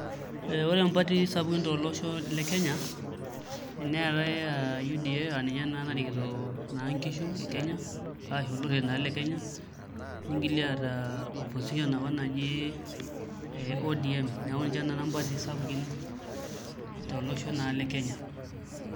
Ore mpatii sapukin tolosho le Kenya neetai aa UDA aa ninye naa narikito inkishu e Kenya arashu olorere naa le Kenya nigili aata opposition apa naji ee ODM neeku ninche naa mpatii sapukin tolosho naa le Kenya.